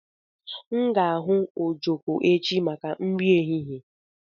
M ga-ahu ojoko echi maka nri ehihie